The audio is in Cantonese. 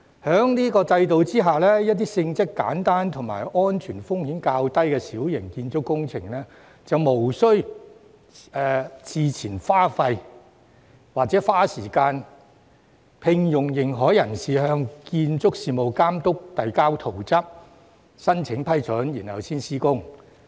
在此制度下，展開若干性質簡單和安全風險較低的小型建築工程前，不再須要事先花錢、花時間聘用認可人士，向建築事務監督遞交圖則和申請批准。